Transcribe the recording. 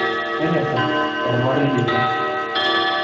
Tonyora ormarei lino.